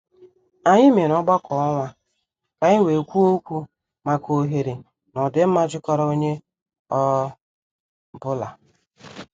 Anyị mere ọgbakọ ọnwa ka anyị wee kwuo okwu maka oghere na ọdịmma jikọrọ onye ọ bụla.